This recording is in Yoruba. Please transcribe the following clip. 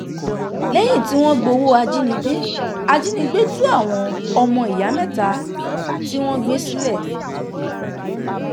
lẹ́yìn tí wọ́n gbowó ajínigbé ajínigbé tú àwọn ọmọ ìyá mẹ́ta tí wọ́n gbé sílẹ̀